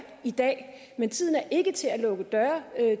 i dag men tiden er ikke til at lukke døre